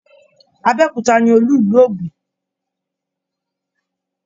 Abéòkúta ni olú ìlú Ògún.